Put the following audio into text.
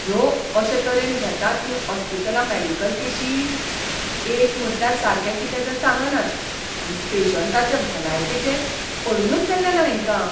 ह्यो अशे तरेन घेतात हीं ऑस्पितालां मॅडिकल केशी? एक म्हटल्यार सारकें कितें तें सांगनात, आनी पेशंटाचे भलायकेचें पडूनच गेल्लें ना हेंकां.